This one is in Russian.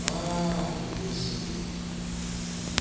а-а-а-а врубился сергей